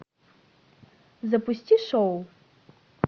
запусти шоу